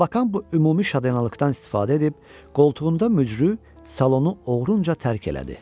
Labakan bu ümumi şadlanalıqdan istifadə edib qoltuğunda möcü, salonu oğrunca tərk elədi.